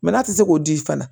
n'a tɛ se k'o di fana